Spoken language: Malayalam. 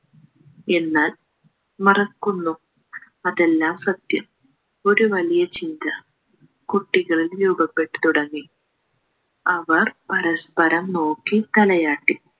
എന്നാൽ മറക്കുന്നു അതെല്ലാം സത്യം ഒരു വലിയ ചിന്ത കുട്ടികളിൽ രൂപപ്പെട്ടു തുടങ്ങി അവർ പരസ്പരം നോക്കി തലയാട്ടി